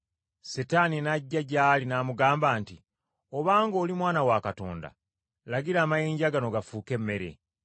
Setaani n’ajja gy’ali n’amugamba nti, “Obanga oli Mwana wa Katonda, lagira amayinja gano gafuuke emmere.”